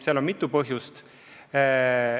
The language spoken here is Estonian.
Sel on mitu põhjust.